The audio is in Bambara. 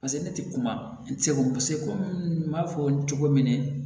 Paseke ne tɛ kuma segu paseke komi n b'a fɔ cogo min na